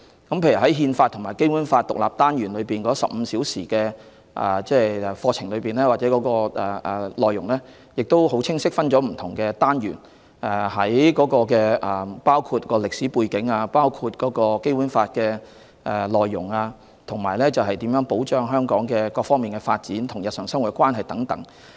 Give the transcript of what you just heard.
例如，"憲法與《基本法》"這個獨立單元會使用15個課時教授，內容亦很清晰地分為不同單元，包括歷史背景、《基本法》的內容、如何保障香港各方面的發展、《基本法》與日常生活的關係等。